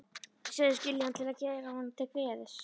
Segist skilja hann til að gera honum til geðs.